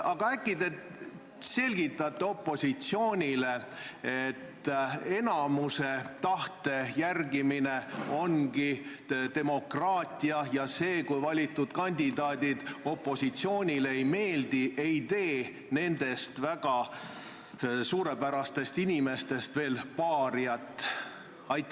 Aga äkki te selgitate opositsioonile, et enamiku tahte järgimine ongi demokraatia, ja see, kui valitud kandidaadid opositsioonile ei meeldi, ei tee nendest väga suurepärastest inimestest veel paariaid.